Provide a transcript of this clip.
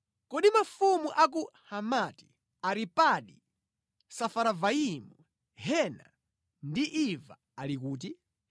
Kodi mafumu a ku Hamati, Aripadi, Safaravaimu, Hena ndi Iva ali kuti?”